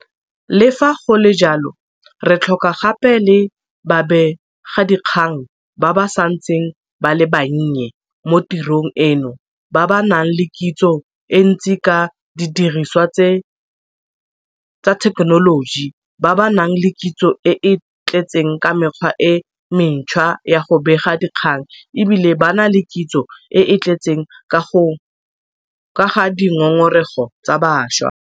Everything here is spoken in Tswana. Le fa go le jalo, re tlhoka gape le babegadikgang ba ba santseng ba le bannye mo tirong eno ba ba nang le kitso e ntsi ka didirisiwa tsa thekenoloji, ba ba nang le kitso e e tletseng ka mekgwa e mentšhwa ya go bega dikgang e bile ba na le kitso e e tletseng ka ga dingongorego tsa bašwa.